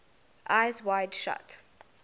eyes wide shut